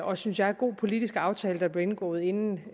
og synes jeg god politisk aftale der blev indgået inden